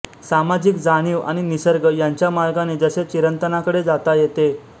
सामाजिक जाणीव आणि निसर्ग यांच्या मार्गाने जसे चिरंतनाकडे जाता येते